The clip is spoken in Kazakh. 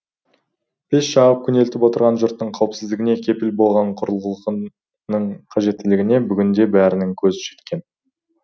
пеш жағып күнелтіп отырған жұрттың қауіпсіздігіне кепіл болған құрылғының қажеттілігіне бүгніде бәрінің көзі жеткен